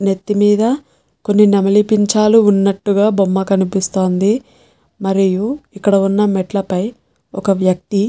నెత్తిమీద కొన్ని నెమలి పించాలు ఉన్నటుగా బొమ్మ కనిపిస్తాంది మరియు ఇక్కడ ఉన్న మెట్లపై ఒక్క వక్తి --